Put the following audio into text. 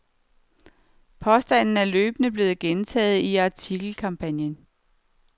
Påstanden er løbende blevet gentaget i artikelkampagnen.